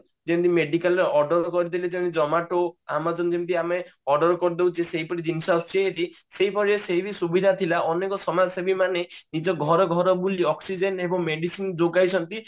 ଯେମିତି ମେଡିକାଲ ରେ order କରିଦେଲେ ଯେମିତି zomato amazon ଯେମିତି ଆମେ order କରୀଦଉଛେ ସେହିପରି ଜିନିଷ ଆସୁଛି ଯେମିତି ସେଇଭଳିଆ ସେହି ସୁବିଧା ଭି ଥିଲା ଅନେକ ସମାଜସେବୀ ମାନେ ନିଜ ଘର ଘର ବୁଲି oxygen ଏବଂ medicine ଯୋଗାଇଛନ୍ତି